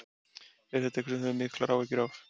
Er þetta eitthvað sem þú hefur miklar áhyggjur af?